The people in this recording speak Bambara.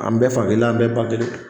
An bɛɛ fa kelen , an bɛɛ ba kelen